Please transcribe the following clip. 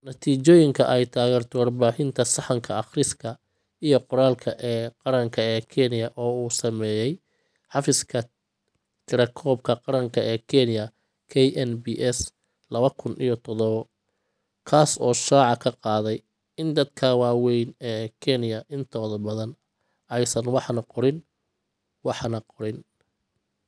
Natiijooyinka ay taageerto Warbixinta Sahanka Akhriska iyo Qoraalka ee Qaranka ee Kenya, oo uu sameeyay Xafiiska Tirakoobka Qaranka ee Kenya (KNBS lawa kun iyo tadhawo ) kaas oo shaaca ka qaaday in dadka waaweyn ee Kenya intooda badan aysan waxna qorin waxna qorin.